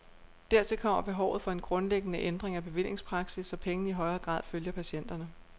Dertil kommer behovet for en grundlæggende ændring af bevillingspraksis, så pengene i højere grad følger patienterne.